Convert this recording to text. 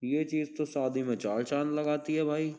ये चीज तो शादी में चाल चांद लगाती है भाई।